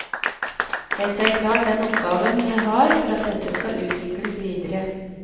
Jeg ser klart den oppgaven jeg har for at dette skal utvikles videre.